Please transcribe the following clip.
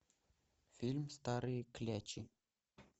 фильм старые клячи